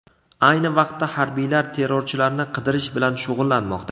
Ayni vaqtda harbiylar terrorchilarni qidirish bilan shug‘ullanmoqda.